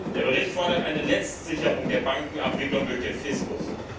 Der Bericht fordert eine Letztsicherung der Bankenabwicklung durch den Fiskus.